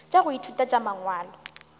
tša go ithuta tša mangwalo